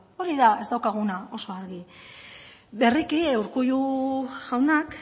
hori da ez daukaguna oso argi berriki urkullu jaunak